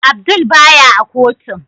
Abdul baya a kotun.